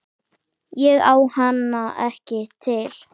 Ég á hana ekki til.